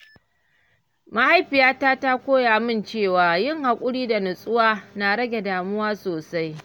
Mahaifiyata ta koya min cewa yin haƙuri da natsuwa na rage damuwa sosai.